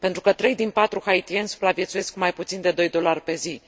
3 din 4 haitieni supraviețuiesc cu mai puțin de 2 dolari pe zi.